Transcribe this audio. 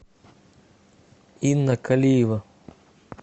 инна калиева